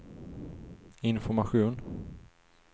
information